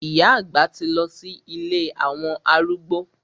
Ìyá àgbà ti lọ sí ilé àwọn arúgbó.